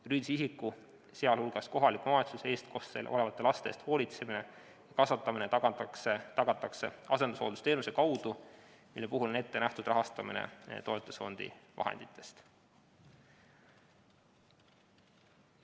Juriidilise isiku, sh kohaliku omavalitsuse eestkostel olevate laste eest hoolitsemine ja kasvatamine tagatakse asendushooldusteenuse kaudu, mille puhul on ette nähtud rahastamine toetusfondi vahenditest.